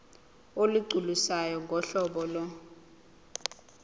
olugculisayo ngohlobo lo